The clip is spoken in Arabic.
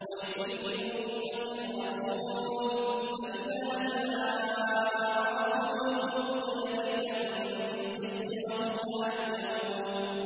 وَلِكُلِّ أُمَّةٍ رَّسُولٌ ۖ فَإِذَا جَاءَ رَسُولُهُمْ قُضِيَ بَيْنَهُم بِالْقِسْطِ وَهُمْ لَا يُظْلَمُونَ